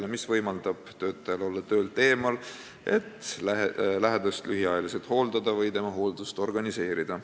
See puhkus võimaldab töötajal olla töölt eemal, et lähedast lühiajaliselt hooldada või tema hooldust organiseerida.